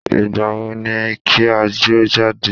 Ìgbàwo ni kí a jọ jáde?